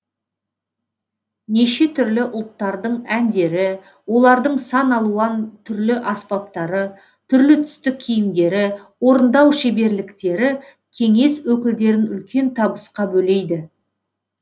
неше түрлі ұлттардың әндері олардың сан алуан түрлі аспаптары түрлі түсті киімдері орындау шеберліктері кеңес өкілдерін үлкен табысқа бөлейді